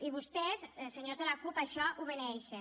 i vostès senyors de la cup això ho beneeixen